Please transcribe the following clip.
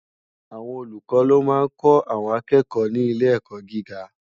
Awòn ólúkò ló má n kò áwòn àkèkò ni ilé èkò gigá